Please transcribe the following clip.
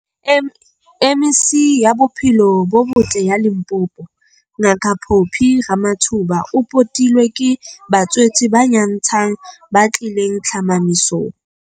M MEC ya Bophelo bo Botle ya Limpopo, Ngaka Phophi Ramathuba o potilwe ke batswetse ba nyantshang ba tlileng tlhomamisong.